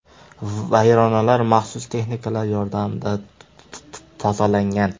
Vayronalar maxsus texnikalar yordamida tozalangan.